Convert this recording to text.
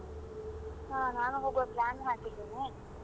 ಹಾ ನಾನು ಹೋಗುವ plan ಹಾಕಿದ್ದೇನೆ.